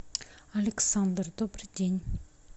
александр добрый день